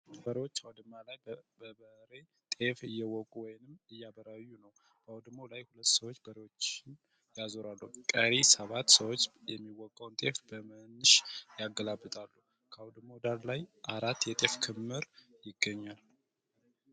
ከበሬዎች አዉድማ ላይ በበሬ ጤፍ እየወቁ ወይም እያበራዩ ነዉ። አዉድማዉ ላይ ሁለት ሰዎች በሬዎችን ያዞራል። ቀሪ ሰባት ሰዎች የሚወቃዉን ጤፍ በመንሽ ያገላብጣሉ። ከአዉድማዉ ዳር ላይ አራት የጤፍ ክምር ይገኛል።